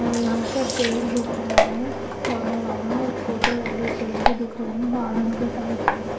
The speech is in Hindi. और यहां पर पेड़ दिख रहा है बड़ा वाला और छोटे वाले पेड़ भी दिख रहे हैं गार्डन के साइड है।